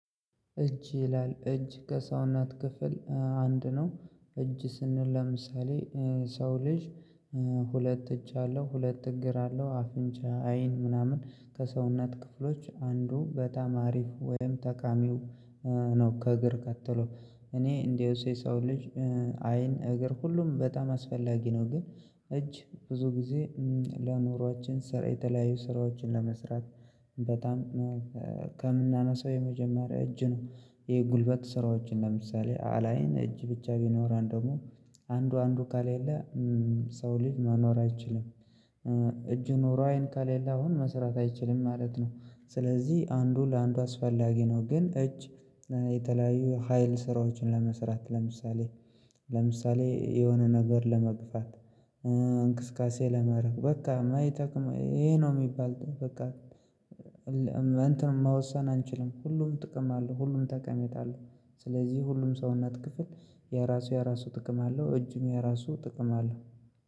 እጅ ይላል እጅ ከሰውነት ክፍል አንድ ነው እጅ ስንል ለምሳሌ ሰው ልጅ ሁለት እጅ አለው ሁለት እግር አለው አፍንጫ አይን ምናምን ከሰውነት ክፍሎች አንዱ በጣም አሪፍ ወይም ተቃሚው ነው። ከእግር ከትሎ እኔ እንደውስ የሰው ልጅ አይን እግር ሁሉም በጣም አስፈላጊ ነው። ግን እጅ ብዙ ጊዜ ለኑራችን ስራ የተለያዩ ስራዎችን ለመስራት በጣም ከምናነሳው የመጀመሪያ እጅ ነው። ይሄ ጉልበት ስራዎችን ለምሳሌ አላይን እጅ ብቻ ቢኖረን ደግሞ አንዱ አንዱ ካሌለ ሰው ልጅ መኖር አይችልም። እጁ ኖሮ አይን ካሌለ አሁን መስራት አይችልም ማለት ነው። ስለዚህ አንዱ ለአንዱ አስፈላጊ ነው። ግን እጅ የተለያዩ ሀይል ስራዎችን ለመስራት ለምሳሌ ለምሳሌ የሆነ ነገር ለመግፋት እንቅስቃሴ ለማረግ በቃ ማይጠቅም ይሄ ነው የሚባል በቃ እንትን መወሰን አንችልም ሁሉም ጥቅም አለው ሁሉም ተቀሜታ አለው። ስለዚህ ሁሉም ሰውነት ክፍል የራሱ የራሱ ጥቅም አለው። እጅም የራሱ ጥቅም አለው።